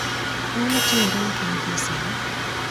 Ang'o matimore ne piny gie sani?